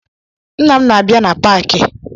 Nna m na-abịa na paakị